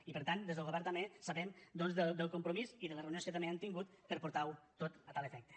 i per tant des del govern també sabem doncs del compromís i de les reunions que també han tingut per portarho tot a tal efecte